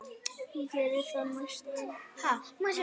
Ég geri það næst.